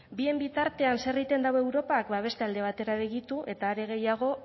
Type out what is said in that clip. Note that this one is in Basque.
bien bitartean zer egiten dabe europak bada beste begitu eta are gehiago